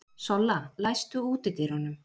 Solla, læstu útidyrunum.